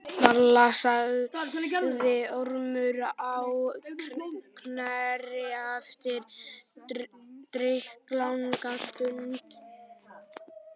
Varla, sagði Ormur á Knerri eftir drykklanga stund.